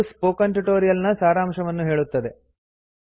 ಇದು spoken tutorial ನ ಸಾರಾಂಶವನ್ನು ಹೇಳುತ್ತದೆ